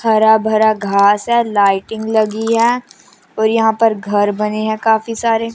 हरा भरा घास है लाइटिंग लगी है और यहां पर घर बने है काफी सारे--